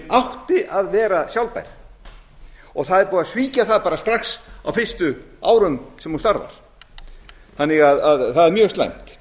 átti að vera sjálfbær það er búið að svíkja það bara strax á fyrstu árum sem hún starfar þannig að það er mjög slæmt